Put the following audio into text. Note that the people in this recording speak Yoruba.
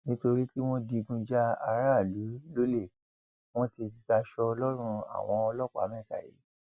nítorí tí wọn digun ja aráàlú lọlẹ wọn ti gbaṣọ lọrùn àwọn ọlọpàá mẹta yìí